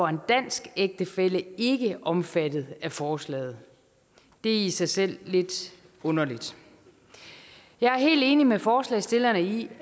en dansk ægtefælle ikke omfattet af forslaget det er i sig selv lidt underligt jeg er helt enig med forslagsstillerne i